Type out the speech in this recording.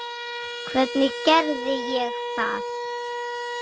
Hvernig gerði ég það?